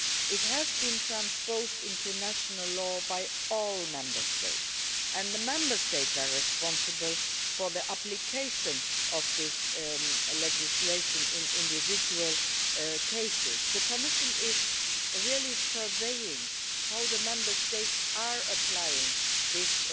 equal treatment. It has been transposed into national law by all Member States, and the Member States are responsible for the application of this legislation in individual cases. The Commission is keenly monitoring how the Member States